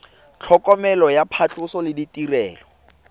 tlhokomelo ya phatlhoso le ditirelo